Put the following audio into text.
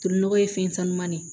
Tolinɔgɔ ye fɛn sanuman ne